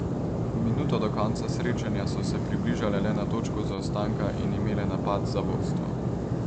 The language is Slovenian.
Minuto do konca srečanja so se približale le na točko zaostanka in imele napad za vodstvo.